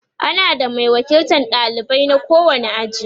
ana da Mai wakiltan ɗalibai na kowani aji